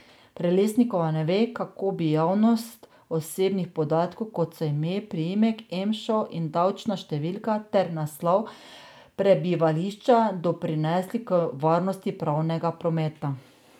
Prelesnikova ne ve, kako bi javnost osebnih podatkov, kot so ime, priimek, emšo in davčna številka ter naslov prebivališča doprinesli k varnosti pravnega prometa.